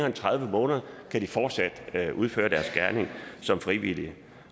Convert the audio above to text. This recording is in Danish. end tredive uger kan de fortsat udføre deres gerning som frivillige